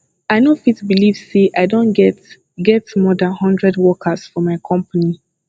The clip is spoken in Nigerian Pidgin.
i no fit believe say i don get get more dan hundred workers for my company